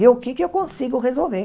Ver o que é que eu consigo resolver.